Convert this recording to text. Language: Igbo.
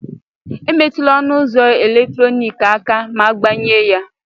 Emetụla ọnụ ụzọ eletrọnịkị aka ma agbanye ya